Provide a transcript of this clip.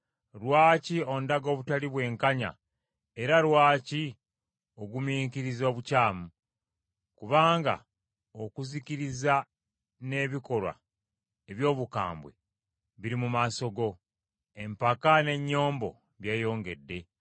Lwaki ondaga obutali bwenkanya era lwaki ogumiikiriza obukyamu? Kubanga okuzikiriza n’ebikolwa eby’obukambwe biri mu maaso gange, empaka n’ennyombo byeyongede.